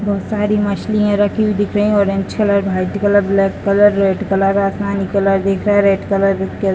बहुत सारी मछलियाँ रखी हुई दिख रही हैं orange colour white colour black colour red colour आसमानी कलर दिख रहे है रेड कलर दिख --